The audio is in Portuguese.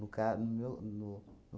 No ca no meu no